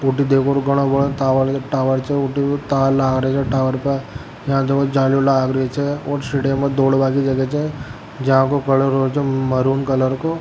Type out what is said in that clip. ऊटी देखो घनो बडो टावर टावर छे तार लाग रहा छे टावर पर में दौड़ बा की जगह छे --